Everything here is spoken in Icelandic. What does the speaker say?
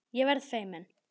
Ég verð feimin.